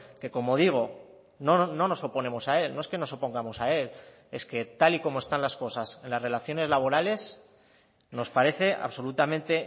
que como digo no nos oponemos a él no es que nos opongamos a él es que tal y como están las cosas en las relaciones laborales nos parece absolutamente